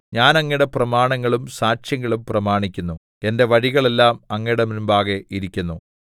ഞാൻ അങ്ങയുടെ പ്രമാണങ്ങളും സാക്ഷ്യങ്ങളും പ്രമാണിക്കുന്നു എന്റെ വഴികളെല്ലാം അങ്ങയുടെ മുമ്പാകെ ഇരിക്കുന്നു തൗ